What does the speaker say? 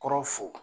Kɔrɔ fo